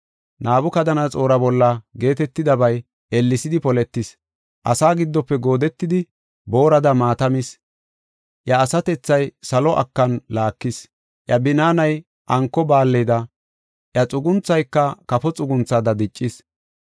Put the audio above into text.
Nabukadanaxoora bolla geetetidabay ellesidi poletis. Asa giddofe goodetidi, boorada maata mis. Iya asatethay salo akan laakis. Iya binaanay anko baalleda, iya xugunthayka kafo xugunthada diccis.